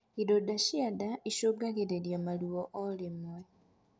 Ironda cia ndaa icungagirirĩa maruo o rimwe